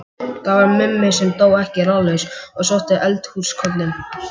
Það var Mummi sem dó ekki ráðalaus og sótti eldhúskollinn.